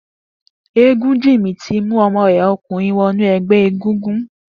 Egunjimi ti mú ọmọ rè ọkunrin wọnú ẹgbẹ égúngún